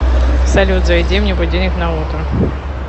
салют заведи мне будильник на утро